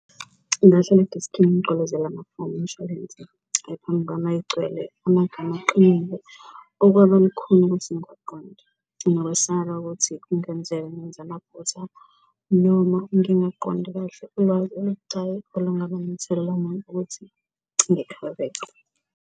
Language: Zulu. Ngingahlala edeskini ngigqolozele amafomu omishwalense egcwele amagama aqinile okwaba lukhuni ukuthi ngiwaqonde, nokwesaba ukuthi kungenzeka ngenze amaphutha noma ngingaqondi kahle ulwazi olubucayi olungaba nomthelela ukuthi .